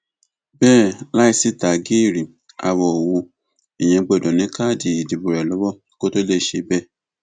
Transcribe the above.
bẹẹ láì sì tágíìrì àwọ ò hu èèyàn gbọdọ ní káàdì ìdìbò rẹ lọwọ kó tóó lè ṣe bẹẹ